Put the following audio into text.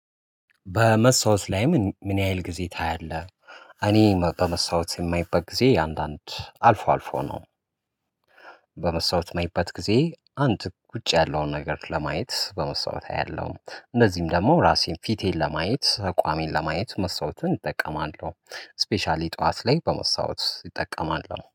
በመስታወት ላይ ምን ምን ያህል ጊዜ ታያለህ? እኔ በመስታወት የማይበት ጊዜ አንዳንድ አልፎ አልፎ ነው። በመስታወት ማይበት ጊዜ አንድ ውጪ ያለውን ነገር ለማየት በመስታወት አያለሁ እንደዚህም ደግሞ ራሴን ፊቴን ለማየት አቋሜን ለማየት መስዋዕትን እጠቀማለሁ ስፔሻሊ ጠዋት ላይ በመስታወት እጠቀማለሁ